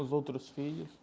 Os outros filhos.